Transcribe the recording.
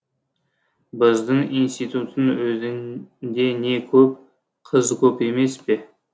біздің институттың өзінде не көп қыз көп емес пе